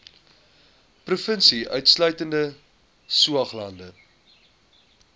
provinsie insluitende saoglande